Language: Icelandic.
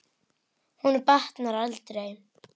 Honum batnar aldrei.